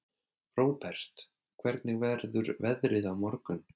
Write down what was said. Róbert, hvernig verður veðrið á morgun?